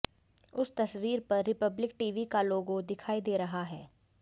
उस तस्वीर पर रिपब्लिक टीवी का लोगो दिखाई दे रहा है